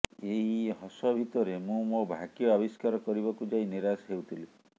ଏଇ ହସ ଭିତରେ ମୁଁ ମୋ ଭାଗ୍ୟ ଆବିଷ୍କାର କରିବାକୁ ଯାଇ ନିରାଶ ହେଉଥିଲି